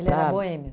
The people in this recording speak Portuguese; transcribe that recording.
era boêmio?